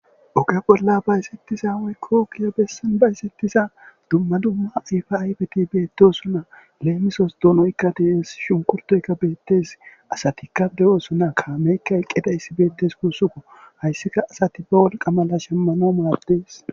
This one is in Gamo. oge bolla ba esettiza woykko kiya bessan ba esettisa dumma dumma ifa aifeti beettosunna leemisos donoykka dehes shunkurtoyka beettes asati kaf dewoosuna kaameykka eqqeda issi beettes kuussuko hayssika asati ba wolqa mala shemmano maaddees